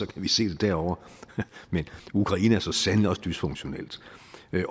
kan vi set et derovre men ukraine er så sandelig også dysfunktionelt